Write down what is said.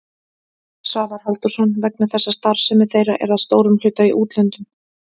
Svavar Halldórsson: Vegna þess að starfsemi þeirra er að stórum hluta í útlöndum?